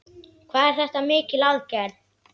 Hvað er þetta mikil aðgerð?